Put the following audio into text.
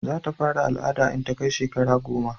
za ta fara al'ada in ta kai shekara goma